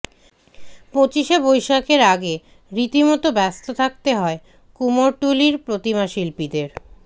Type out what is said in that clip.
পঁচিশে বৈশাখের আগে রীতিমতো ব্যস্ত থাকতে হয় কুমোরটুলির প্রতিমাশিল্পীদের